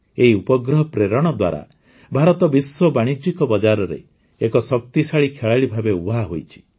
ଏହି ଉପଗ୍ରହ ପ୍ରେରଣ ଦ୍ୱାରା ଭାରତ ବିଶ୍ୱ ବାଣିଜ୍ୟିକ ବଜାରରେ ଏକ ଶକ୍ତିଶାଳୀ ଖେଳାଳି ଭାବେ ଉଭା ହୋଇଛି